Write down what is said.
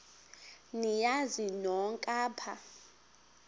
niyazi nonk apha